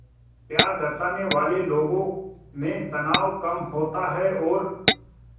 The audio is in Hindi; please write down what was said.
प्यार दर्शाने वाले लोगों में तनाव कम होता है और